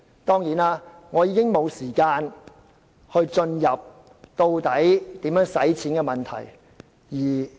當然，我已沒有時間闡述如何花錢的問題。